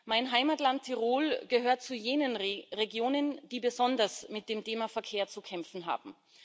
Mein Heimatland Tirol gehört zu jenen Regionen, die besonders mit dem Thema Verkehr zu kämpfen haben.